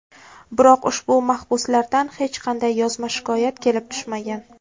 Biroq ushbu mahbuslardan hech qanday yozma shikoyat kelib tushmagan.